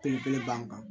Kelen kelen ban kan